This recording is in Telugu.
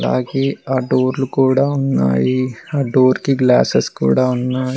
అలాగే ఆ డోర్లు కూడ ఉన్నాయి ఆ డోర్కి గ్లాస్సెస్ కూడ ఉన్నాయ్.